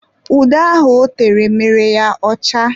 Ude ahụ ọ tere mere ya ọcha.